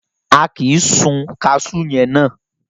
A kì sun kaṣú yẹn ná.